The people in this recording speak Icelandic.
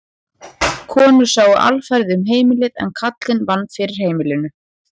Konur sáu alfarið um heimilið en karlinn vann fyrir heimilinu.